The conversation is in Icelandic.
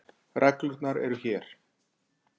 Reglurnar eru hér.